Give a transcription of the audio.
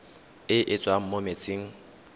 e e tswang mo metsing